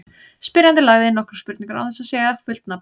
Spyrjandi lagði inn nokkrar spurningar án þess að segja fullt nafn.